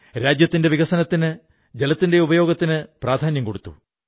സമയത്തിനനുസരിച്ച് അദ്ദേഹം pencil slate നിർമ്മാണ യന്ത്രം വാങ്ങി